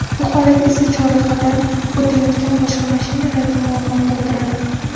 Bu holat esa chorrahadan o‘tayotgan boshqa mashinalarga muammo tug‘diradi.